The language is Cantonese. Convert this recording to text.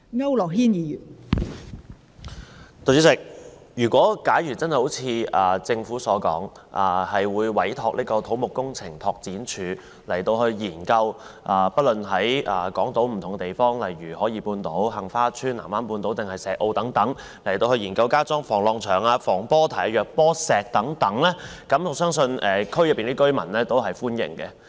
代理主席，如果真的如政府所說，會委託土木工程拓展署研究在港島不同地方，例如海怡半島、杏花邨、藍灣半島或石澳等地區加裝防浪牆、防波堤或弱波石等，我相信區內居民對此也是歡迎的。